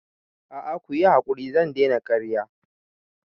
A'a kuyi hakuri zan daina karya